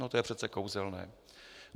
No to je přece kouzelné.